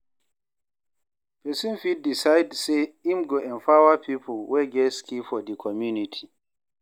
Persin fit decide say im go empower pipo wey get skill for di community